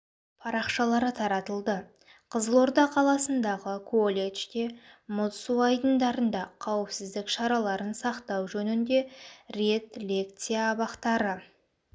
парақшалары таратылды қызылорда қаласындағы колледжде мұз су айдындарында қауіпсіздк шараларын сақтау жөнінде рет лекция абақтары